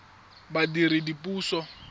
badiredipuso